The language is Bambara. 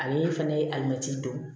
Ale fana ye alimɛtiri don